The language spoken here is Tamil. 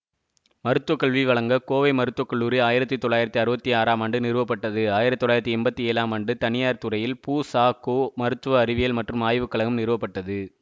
மருத்துவக்கல்வி வழங்க கோவை மருத்துவ கல்லூரி ஆயிரத்தி தொள்ளாயிரத்தி அறுபத்தி ஆறாம் ஆண்டு நிறுவப்பட்டது ஆயிரத்தி தொள்ளாயிரத்தி எம்பத்தி ஏழாம் ஆண்டு தனியார் துறையில் பூசாகோ மருத்துவ அறிவியல் மற்றும் ஆய்வு கழகம் நிறுவப்பட்டது